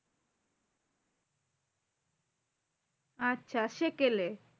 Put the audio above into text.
আচ্ছা সেকেলে।